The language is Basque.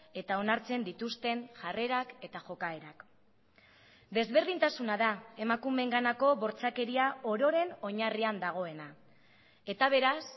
eta onartzen dituzten jarrerak eta jokaerak desberdintasuna da emakumeenganako bortxakeria ororen oinarrian dagoena eta beraz